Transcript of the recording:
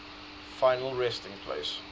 final resting place